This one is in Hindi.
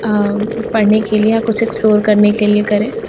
अअअ पड़ने के लिए या कुछ एक्स्प्लोर करने के लिए करे--